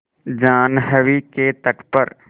जाह्नवी के तट पर